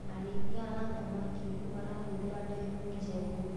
Arĩithia a thamaki marahũthĩra ndemu njerũ.